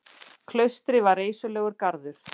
Klaustrið var reisulegur garður.